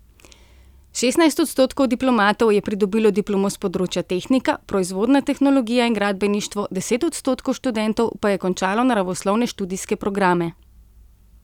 Šestnajst odstotkov diplomatov je pridobilo diplomo s področja tehnika, proizvodna tehnologija in gradbeništvo, deset odstotkov študentov pa je končalo naravoslovne študijske programe.